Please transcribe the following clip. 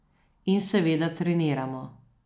In seveda treniramo.